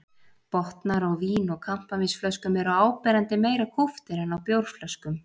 Botnar á vín- og kampavínsflöskum eru áberandi meira kúptir en á bjórflöskum.